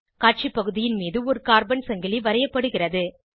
காட்சி பகுதியின் மீது ஒரு கார்பன் சங்கிலி வரையப்படுகிறது